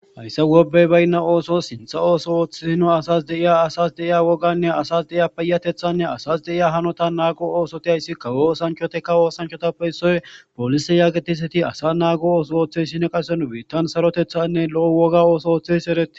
Hayssa gobey baynna ooso sintha ooso ooththeino asas deiya asas deiya woganne asas deiya peyatethanne asas deiya hanota naago oosoti ayssi ka woosanchoteka woosanchotappe issoy polise yaagetiseti asa naago ooso ooththey sine qase nu beittan sarotethanne lo'o woga ooso ooththes ereti.